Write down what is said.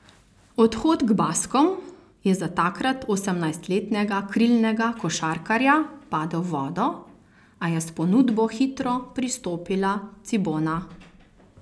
Odhod k Baskom je za takrat osemnajstletnega krilnega košarkarja padel v vodo, a je s ponudbo hitro pristopila Cibona.